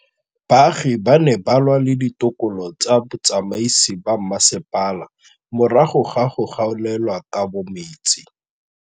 Baagi ba ne ba lwa le ditokolo tsa botsamaisi ba mmasepala morago ga go gaolelwa kabo metsi.